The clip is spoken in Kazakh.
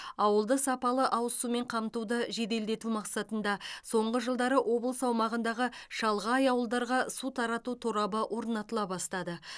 ауылды сапалы ауыз сумен қамтуды жеделдету мақсатында соңғы жылдары облыс аумағындағы шалғай ауылдарға су тарату торабы орнатыла бастады